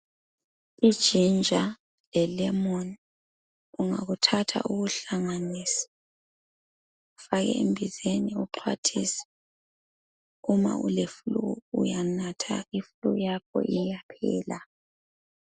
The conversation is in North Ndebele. IGinger le Lemon ungakuthatha ukuhlanganise ufake embizeni uxhwathise uma uleflue, uyanatha iflue yakho iyaphela.